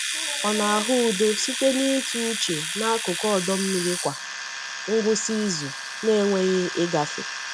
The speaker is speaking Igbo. Ọ na-ahụ udo site n’ịtụ uche n’akụkụ ọdọ mmiri kwa ngwụsị izu na-enweghị ịgafe.